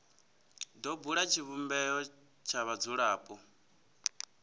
do bula tshivhumbeo tsha vhadzulapo